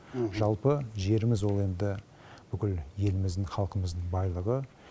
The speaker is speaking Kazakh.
жалпы жеріміз ол енді бүкіл еліміздің халқымыздың байлығы